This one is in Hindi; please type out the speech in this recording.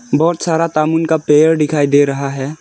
बहुत सारा तामून का पेड़ दिखाई दे रहा है।